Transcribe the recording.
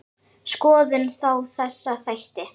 Skoðum þá þessa þætti.